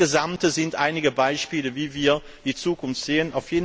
Das alles sind einige Beispiele, wie wir die Zukunft sehen.